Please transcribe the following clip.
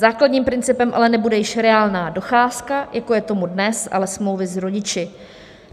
Základním principem ale nebude již reálná docházka, jako je tomu dnes, ale smlouvy s rodiči.